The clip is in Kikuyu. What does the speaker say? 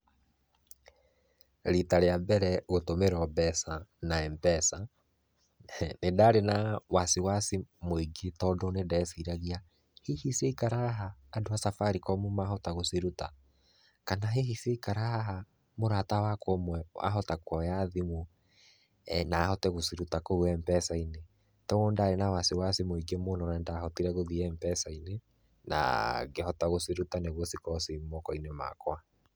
Rĩta rĩa mbere gũtũmĩrwo mbeca na Mpesa, nĩ ndarĩ na wasi wasi mũingĩ tondũ nĩ ndeciragia, hihi ciaikara haha andũ a Safaricom mahota gũcĩruta? Kana hihi ciaikara haha mũrata wakwa ũmwe ahota kuoya thimũ na ahote gũcĩruta kũu Mpesa-inĩ? Koguo nĩ ndarĩ na wasi wasi mũingĩ mũno na nĩ ndahotire gũthiĩ Mpesa-inĩ na ngĩhota gũciruta nĩguo cikorwo ci mokoinĩ makwa.